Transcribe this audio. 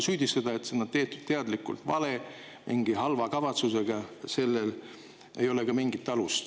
Süüdistusel, et see on teadlikult vale, tehtud mingi halva kavatsusega, ei ole ka mingit alust.